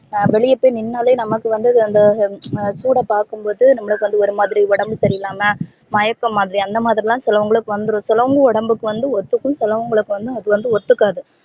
அஹ் வெளிய போய் நின்னாலே நமக்கு வந்து அந்த சூட பாக்கும்போது நமக்கு வந்து ஒரு மாரி உடம்பு சரியில்லாம மயக்கமாதிரி அந்த மாதிரிலா சிலவங்களுக்கு வந்துரும் சிலவங்க உடம்புக்கு வந்து ஒத்துக்கும் சிலவங்கலுக்கு அது வந்து ஒத்துகாது